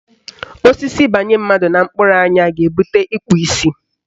Osisi banye mmadụ na mkpụrụ anya ga-ebute ikpu isi.